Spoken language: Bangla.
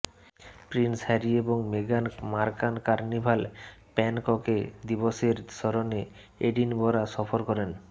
প্রিন্স হ্যারি এবং মেগান মার্কাল কার্নিভাল প্যানককে দিবসের স্মরণে এডিনবরা সফর করেন